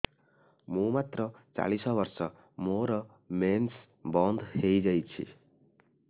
ମୁଁ ମାତ୍ର ଚାଳିଶ ବର୍ଷ ମୋର ମେନ୍ସ ବନ୍ଦ ହେଇଯାଇଛି